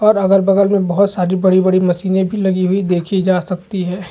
और अगल -बगल में बहुत सारी बड़ी -बड़ी मछलिया भी लगी हुई देखी जा सकती है।